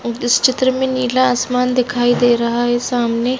इस चित्र में नीला आसमान दिखाई दे रहा है सामने--